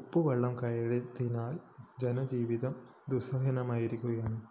ഉപ്പുവെളളം കയറിയതിനാല്‍ ജനജീവിതം ദുസ്സഹമായിരിക്കുകയാണ്